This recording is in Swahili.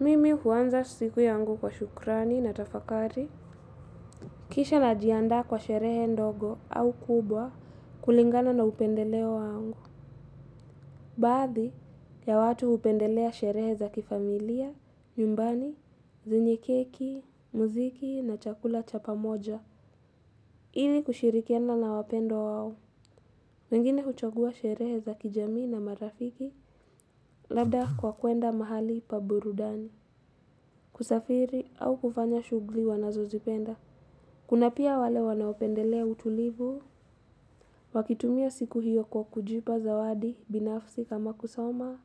Mimi huanza siku yangu kwa shukrani na tafakari. Kisha najiandaa kwa sherehe ndogo au kubwa kulingana na upendeleo wangu. Baadhi ya watu hupendelea sherehe za kifamilia, nyumbani, zenye keki, muziki na chakula cha pamoja. Ili kushirikiana na wapendwa wao. Wengine huchagua sherehe zaki jamii na marafiki labda kwa kuenda mahali pa burudani. Kusafiri au kufanya shugli wanazo zipenda. Kuna pia wale wanaopendelea utulivu. Wakitumia siku hiyo kwa kujipa zawadi binafsi kama kusoma